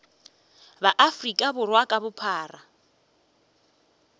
ba afrika borwa ka bophara